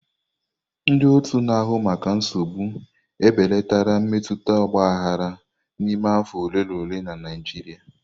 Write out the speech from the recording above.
Ndị otu na-ahụ maka nsogbu ebelatala mmetụta ọgbaghara n'ime afọ ole na ole na Naịjirịa.